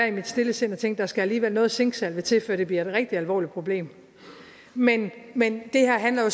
i mit stille sind at tænke at skal noget zinksalve til før det bliver et rigtig alvorligt problem men men det her handler jo